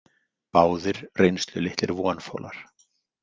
Báðir reynslulitlir vonfolar.